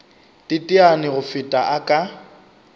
teteane go feta a ka